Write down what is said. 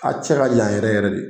A cɛ ka jan yɛrɛ yɛrɛ de